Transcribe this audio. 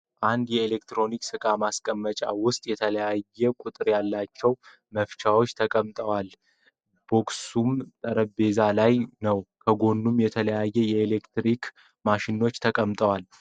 አንድ የኤሌክትሮኒክ እቃ ማስቀመጫ ውስጥ የተለያዩ ቁጥር ያላቸው መፍቻወች ተቀምጠዋል ። ቦክሱም ጠረምጴዛ ላይ ነው ። ከጎኑም የተለያዩ የኤሌክትሪክ ማሽኖች ተቀምጠዋል ።